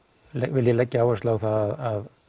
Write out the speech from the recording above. vil ég leggja áherslu á það